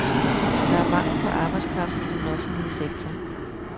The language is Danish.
Der er mangel på arbejdskraft i den offentlige sektor.